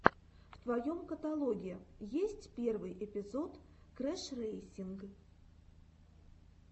в твоем каталоге есть первый эпизод крэшрэйсинг